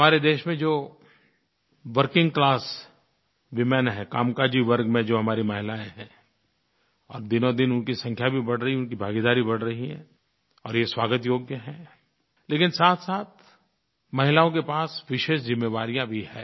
हमारे देश में जो वर्किंग क्लास वूमेन हैं कामकाजी वर्ग में जो हमारी महिलायें हैं और दिनोंदिन उनकी संख्या भी बढ़ रही है उनकी भागीदारी बढ़ रही है और ये स्वागत योग्य है लेकिन साथसाथ महिलाओं के पास विशेष ज़िम्मेवारियाँ भी हैं